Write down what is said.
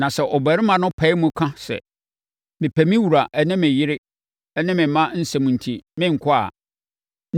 “Na sɛ ɔbarima no pae mu ka sɛ ‘Mepɛ me wura ne me yere ne me mma asɛm enti merenkɔ’ a,